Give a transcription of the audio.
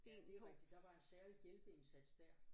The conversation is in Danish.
Ja det er rigtigt der var en særlig hjælpeindsats der